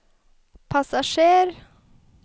passasjer